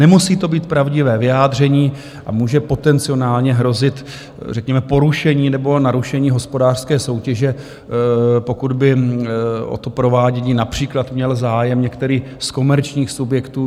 Nemusí to být pravdivé vyjádření a může potenciálně hrozit řekněme porušení nebo narušení hospodářské soutěže, pokud by o to provádění například měl zájem některý z komerčních subjektů.